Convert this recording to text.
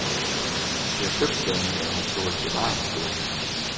Det er købstæderne, der har fået bevaringsstøtte.